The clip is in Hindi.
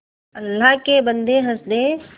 अल्लाह के बन्दे हंस दे